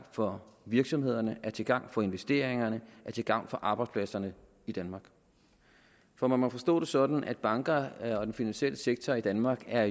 for virksomhederne til gavn for investeringerne til gavn for arbejdspladserne i danmark for man må forstå det sådan at bankerne og den finansielle sektor i danmark jo er